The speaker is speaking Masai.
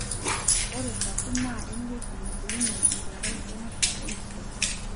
ore sapo na eweuji nabulunyie enkerai enuta enkitok.